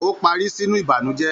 O parí sínú ìbànújẹ.